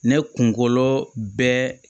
Ne kunkolo bɛ